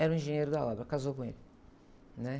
Era um engenheiro da obra, casou com ele, né?